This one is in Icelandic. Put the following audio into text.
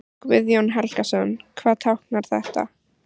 Guðjón Helgason: Hvað táknar þetta?